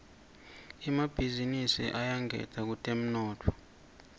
emabhizinisi ayangeta kutemnotfo